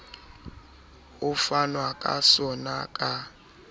ho fanwa ka sona ka